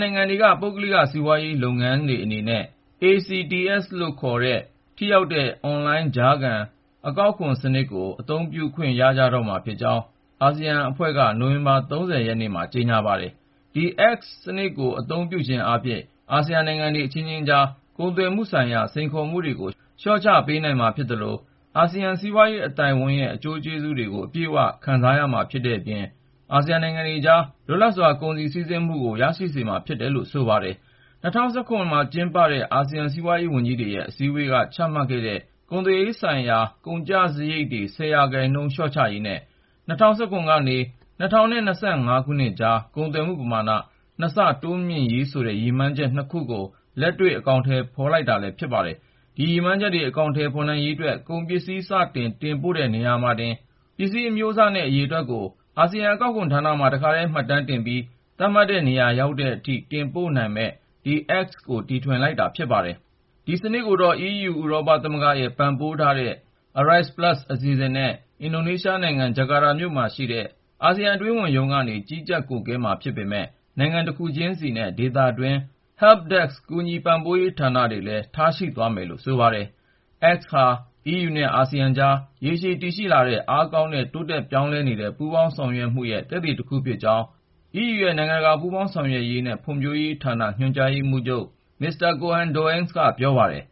နိုင်ငံတွေက ပုဂ္ဂလိက စီးပွားလုပ်ငန်းတွေအနေနဲ့ (ASEAN Customs Transit System - ACTS) လို့ခေါ်တဲ့ ထိရောက်တဲ့ အွန်လိုင်း ကြားခံ အကောက်ခွန်းစနစ်ကို အသုံးပြုခွင့် ရကြတော့မှာဖြစ်ကြောင်း အာဆီယံအဖွဲ့က နိုဝင်ဘာ ၃၀ ရက်နေ့မှာ ကြေညာပါတယ်။ ဒီ ACTS စနစ်ကို အသုံးပြုခြင်းအားဖြင့် အာဆီယံ နိုင်ငံတွေ အခြင်းခြင်းကြားက ကုန်သွယ်မှုဆိုင်ရာ စိန်ခေါ်မှုတွေကို လျှော့ချပေးနိုင်မှာဖြစ်သလို အာဆီယံ စီးပွားရေး အသိုက်အဝန်း (ACE) ရဲ့ အကျိုးကျေးဇူးတွေကို အပြည့်အ၀ ခံစားခွင့်ရမှာဖြစ်တဲ့အပြင် အာဆီယနိုင်ငံတွေအကြားမှာ လွတ်လပ်စွာ ကုန်စည် စီးဆင်းမှုလည်း ရရှိစေမှာဖြစ်တယ်လို့ ဆိုပါတယ်။ ၂၀၁၇ ခုနှစ်မှာ ကျင်းပခဲ့တဲ့ အာဆီယံစီးပွားရေးဝန်ကြီးတွေရဲ့ အစည်းဝေးက ချမှတ်ခဲ့တဲ့ ကုန်သွယ်ရေးနဲ့သက်ဆိုင်တဲ့ ကုန်ကျစားရိတ်တွေ ၁၀% လျှော့ချရေးနဲ့ ၂၀၁၇ ကနေ ၂၀၂၅ ခုနှစ်အကြား ကုန်သွယ်မှုပမာဏ ၂ ဆ တိုးမြင့်ရေးဆိုတဲ့ ရည်မှန်းချက် ၂ ခုကို လက်တွေ့ အကောင်အထည် ဖော်ဆောင်လိုက်တာလည်း ဖြစ်ပါတယ်။ ဒီ ရည်မှန်းချက်တွေ အကောင်အထည်ဖော်နိုင်ရေးအတွက် ကုန်ပစ္စည်း စတင် တင်ပို့တဲ့နေရာမှာတင် ပစ္စည်းအမျိုးအစားနဲ့ အရေအတွက်ကို အာဆီယံအကောက်ခွန်ဌာနမှာ တခါထဲ မှတ်တမ်းတင်ပြီး သတ်မှတ်တဲ့နေရာ ရောက်တဲ့အထိ တင်ပို့ပေးနိုင်မယ့် ဒီ ACTS ကို တီထွင်လိုက်တာ ဖြစ်ပါတယ်။ ဒီ ACTS စနစ်ကိုတော့ အီးယူ ဥရောပသမဂ္ဂရဲ့ ပံ့ပိုးပေးထားတဲ့ ARISE Plus အစီအစဉ်နဲ့ အင်ဒိုနီးရှားနိုင်ငံ၊ ဂျကာတာမြို့မှာရှိတဲ့ အာဆီယံ အတွင်းဝန်ရုံးကနေ ကြီးကြပ် ကွပ်ကိုင်မှာ ဖြစ်ပေမယ့် နိုင်ငံတခုချင်းစီနဲ့ ဒေသတွင်း Help Desk ကူညီ ပံ့ပိုးပေးရေးဌာနတွေလည်း ထားရှိသွားမယ်လို့ ဆိုပါတယ်။ ACTS ဟာ အီးယူနဲ့ အာဆီယံအကြားက ရေရှည်တည်ရှိလာခဲ့တဲ့ အားကောင်းပြီး တိုးတက် ပြောင်းလဲနေတဲ့ ပူးပေါင်းဆောင်ရွက်မှုရဲ့ သက်သေတခုဖြစ်ကြောင်း အီးယူရဲ့ နိုင်ငံတကာပူးပေါင်းဆောင်ရွက်ရေးနဲ့ ဖွံ့ဖြိုးမှုဌာန ညွန်ကြားရေးမှူးချုပ် မစ္စတာ Koen Doens က ပြောပါတယ်